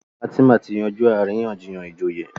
Fatima tí yanjú àríyànjiyàn ìjòyè.